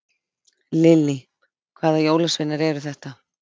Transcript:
Lillý: Hvaða jólasveinar eru þetta?